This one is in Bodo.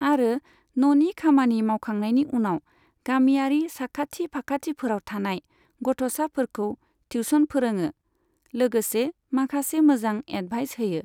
आरो न'नि खामानि मावखांनायनि उनाव गामियारि साखाथि फाखाथिफोराव थानाय गथ'साफोरखौ टिउसन फोरोङो, लोगोसे माखासे मोजां एदभाइस होयो।